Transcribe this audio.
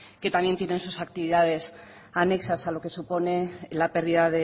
que también tienen sus actividades anexas a lo que supone la pérdida